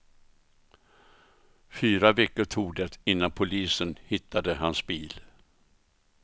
Fyra veckor tog det innan polisen hittade hans bil.